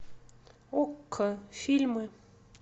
окко фильмы